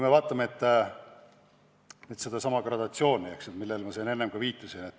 No vaatame sedasama gradatsiooni, millele ma siin enne viitasin.